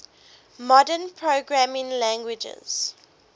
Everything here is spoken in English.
modern programming languages